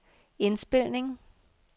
indspilning